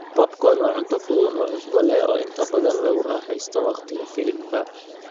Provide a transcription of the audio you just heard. Popcorn waa cunto fudud oo cusbo leh oo inta badan lagu raaxaysto wakhtiga filimka.